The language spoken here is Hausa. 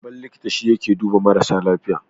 Babban likita shi yake duba mara lafiya.